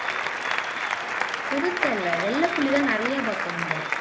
சிறுத்தை இல்லை வெள்ளை புலிதான் நிறைய பார்த்தோம் நம்ம